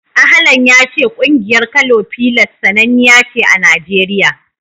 Ahlan ya ce ƙungiyar Kano Pillars sananniya ce a Najeriya.